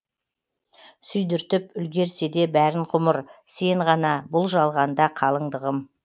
сүйдіртіп үлгерсе де бәрін ғұмыр сен ғана бұл жалғанда қалыңдығым